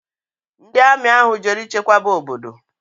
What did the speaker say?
Ndi Ami ahu jere ichekwaba obodo